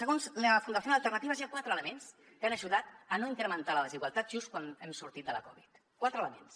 segons la fundación alternativas hi ha quatre elements que han ajudat a no incrementar la desigualtat just quan hem sortit de la covid quatre elements